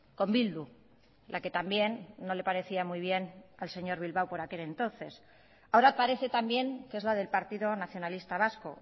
con bildu la que también no le parecía muy bien al señor bilbao por aquel entonces ahora parece también que es la del partido nacionalista vasco